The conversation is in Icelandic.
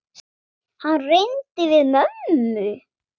Hann reyndi við mömmu!